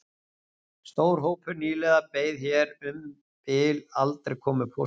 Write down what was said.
Stór hópur nýliða beið hér um bil aldrei komu póstsins